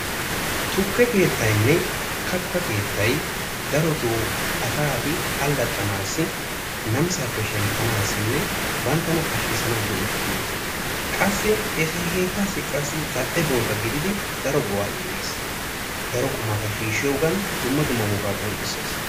Tukke keettaynne katta keettay darottoo asati allaaxanassi namissappe shemppanassinne banttana pakshshissanassi go'ettiyosa, qassi eta keettaassi qassi zal''e bootta gididi daro go''a imees. daro qumata shiishoogan dumma dumma wogata qonccissees